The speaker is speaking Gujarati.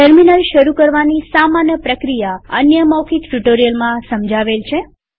ટર્મિનલ શરુ કરવાની સામાન્ય પ્રક્રિયા અન્ય મૌખિક ટ્યુ્ટોરીઅલમાં સમજાવેલ છે